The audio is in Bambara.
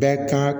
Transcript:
Bɛɛ kan